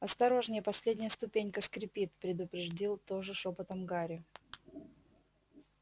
осторожнее последняя ступенька скрипит предупредил тоже шёпотом гарри